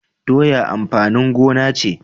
Doya amfanin gona ce